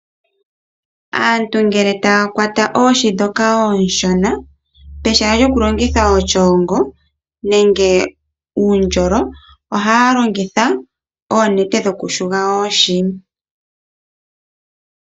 Aantu ngele taya kwata oohi dhoka onshona pehala lyoku longitha oshungo nenge uundjolo ohaya longitha oonete dhoku yula oohi.